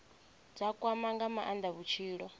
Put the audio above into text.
dza kwama nga maanda vhutshilo